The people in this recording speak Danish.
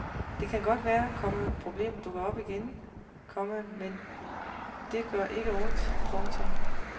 Det kan godt være, komma problemet dukker op igen, komma men det gør ikke ondt. punktum